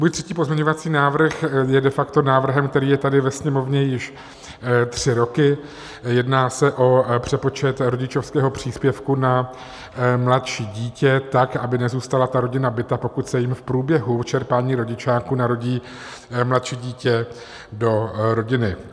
Můj třetí pozměňovací návrh je de facto návrhem, který je tady ve Sněmovně již tři roky, jedná se o přepočet rodičovského příspěvku na mladší dítě tak, aby nezůstala ta rodina bita, pokud se jim v průběhu čerpání rodičáku narodí mladší dítě do rodiny.